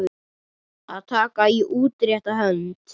Að taka í útrétta hönd